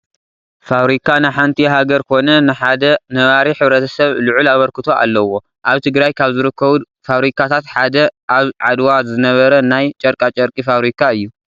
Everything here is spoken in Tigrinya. ፋብሪካ ንሓንቲ ሃገር ኮነ ንሓደ ነባሪ ሕ/ሰብ ልዑል ኣበርክቶ ኣለዎ፡፡ ኣብ ትግራይ ካብ ዝርከቡ ዳብሪካታት ሓደ ኣብ ዓድዋ ዝነበረ ናይ ጨርቃጨርቂ ፋብሪካ እዩ፡፡